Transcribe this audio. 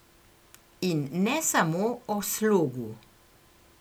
In ne samo o slogu!